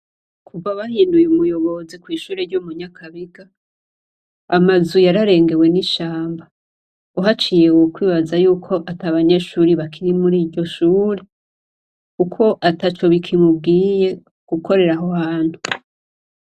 Kuva bahinduye umuyobozi kw'ishuri ryo munyakabiga amazu yararengewe n'ishamba uhaciye wo kwibaza yuko ata abanyeshuri bakiri muri iryo shuri ukwo ata co bikimubwiye gukoreraho hantu.